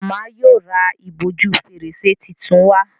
Màmá yíò rá ìbòjú Fèrèsé títún wá.